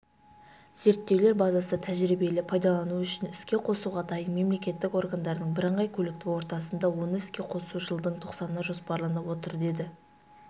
зерттеулер базасы тәжірибелі пайдалану үшін іске қосуға дайын мемлекеттік органдардың бірыңғай көліктік ортасында оны іске қосу жылдың тоқсанына жоспарланып отыр деді